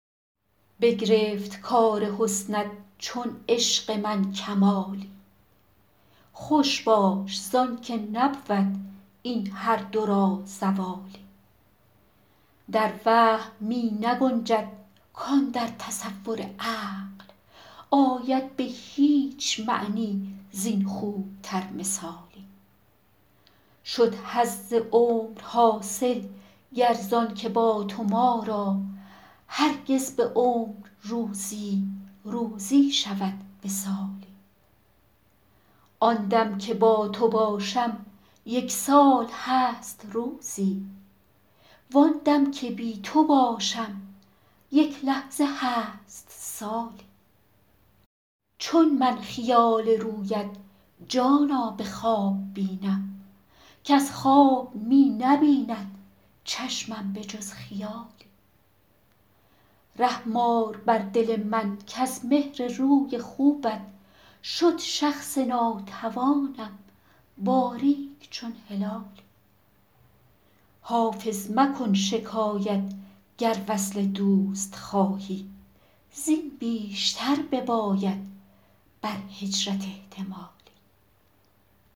بگرفت کار حسنت چون عشق من کمالی خوش باش زان که نبود این هر دو را زوالی در وهم می نگنجد کاندر تصور عقل آید به هیچ معنی زین خوب تر مثالی شد حظ عمر حاصل گر زان که با تو ما را هرگز به عمر روزی روزی شود وصالی آن دم که با تو باشم یک سال هست روزی وان دم که بی تو باشم یک لحظه هست سالی چون من خیال رویت جانا به خواب بینم کز خواب می نبیند چشمم به جز خیالی رحم آر بر دل من کز مهر روی خوبت شد شخص ناتوانم باریک چون هلالی حافظ مکن شکایت گر وصل دوست خواهی زین بیشتر بباید بر هجرت احتمالی